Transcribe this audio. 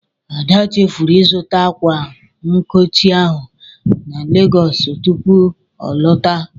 Ada chefuru ịzụta ákwà nkochi ahụ na Legọọsụ tupu ọ lọta.